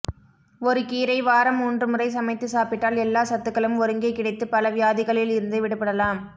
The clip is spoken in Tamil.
ஒரு கீரை வாரம் முன்று முறை சமைத்து சாப்பிட்டால் எல்லா சத்துகளும் ஒருங்கே கிடைத்து பல வியாதிகளில் இருந்து விடுபடலாம்